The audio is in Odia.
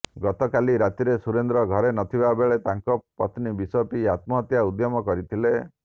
ଗତକାଲି ରାତିରେ ସୁରେନ୍ଦ୍ର ଘରେ ନଥିବା ବେଳେ ତାଙ୍କ ପତ୍ନୀ ବିଷ ପିଇ ଆତ୍ମହତ୍ୟା ଉଦ୍ୟମ କରିଥିଲେ